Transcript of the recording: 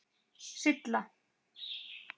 Silla